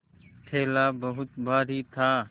थैला बहुत भारी था